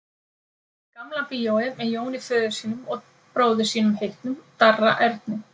Gamla bíói með Jóni föður sínum og bróður sínum heitnum, Darra Erni.